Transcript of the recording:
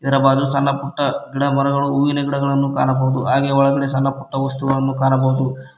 ಇದರ ಬಾಜು ಸಣ್ಣ ಪುಟ್ಟ ಗಿಡ ಮರಗಳು ಹೂವಿನ ಗಿಡಗಳನ್ನು ಕಾಣಬಹುದು ಹಾಗೆ ಒಳಗಡೆ ಸಣ್ಣ ಪುಟ್ಟ ವಸ್ತುಗಳನ್ನು ಕಾಣಬಹುದು.